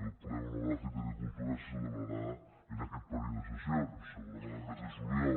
el ple monogràfic d’agricultura se celebrarà en aquest període de ses sions segurament el mes de juliol